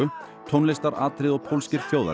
tónlistaratriði og pólskir